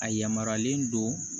A yamaruyalen don